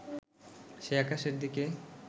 সে আকাশের দিকে